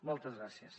moltes gràcies